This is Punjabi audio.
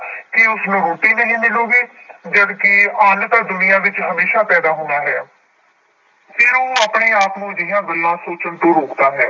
ਕੀ ਉਸਨੂੰ ਰੋਟੀ ਨਹੀਂ ਮਿਲੇਗੀ ਜਦਕਿ ਅੰਨ ਤਾਂ ਦੁਨੀਆਂ ਵਿੱਚ ਹਮੇਸ਼ਾ ਪੈਦਾ ਹੋਣਾ ਹੈ ਫਿਰ ਉਹ ਆਪਣੇ ਆਪ ਨੂੰ ਅਜਿਹੀਆਂ ਗੱਲਾਂ ਸੋਚਣ ਤੋਂ ਰੋਕਦਾ ਹੈ।